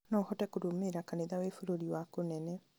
noũhote kũrũmĩrĩra kanitha wĩ bũrũri wa kũnene